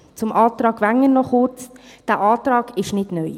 Kurz zum Antrag Wenger: Dieser Antrag ist nicht neu.